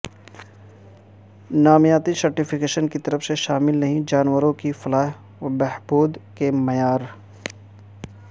نامیاتی سرٹیفیکیشن کی طرف سے شامل نہیں جانوروں کی فلاح و بہبود کے معیار